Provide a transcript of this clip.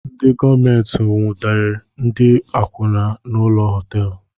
Ndị gọọmenti nwudere ndị akwụna na ụlọ họteelu